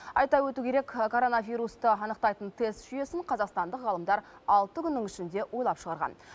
айта өту керек коронавирусты анықтайтын тест жүйесін қазақстандық ғалымдар алты күннің ішінде ойлап шығарған